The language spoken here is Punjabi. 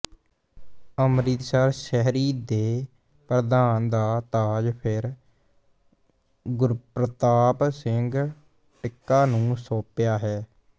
ਅੰਮਿ੍ਤਸਰ ਸ਼ਹਿਰੀ ਦੇ ਪ੍ਰਧਾਨ ਦਾ ਤਾਜ ਫਿਰ ਗੁਰਪ੍ਰਤਾਪ ਸਿੰਘ ਟਿੱਕਾ ਨੂੰ ਸੌਂਪਿਆ ਹੈ